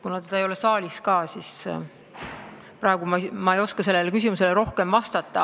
Teda ei ole saalis ja praegu ei oska mina sellele küsimusele rohkem vastata.